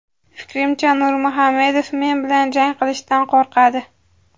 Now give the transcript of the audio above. Fikrimcha, Nurmuhamedov men bilan jang qilishdan qo‘rqadi.